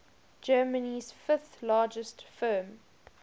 germany's fifth largest firm